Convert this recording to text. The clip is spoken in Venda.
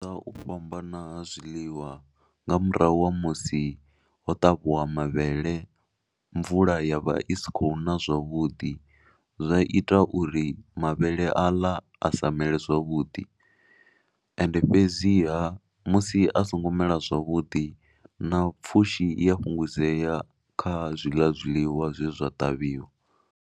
Nga u fhambana ha zwiḽiwa nga murahu ha musi ho ṱavhiwa mavhele, mvula ya vha i si khou na zwavhuḓi, zwa ita uri mavhele aḽa a sa mele zwavhuḓi. Ende fhedziha musi a songo mela zwavhudi na pfhushi i a fhungudzea kha zwiḽa zwiḽiwa zwe zwa ṱavhiwa.